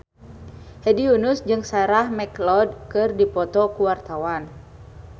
Hedi Yunus jeung Sarah McLeod keur dipoto ku wartawan